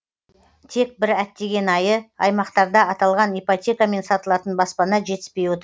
тек бір әттеген айы аймақтарда аталған ипотекамен сатылатын баспана жетіспей отыр